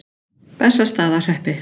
Bessastaðahreppi